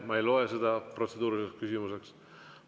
Ma ei loe seda protseduuriliseks küsimuseks.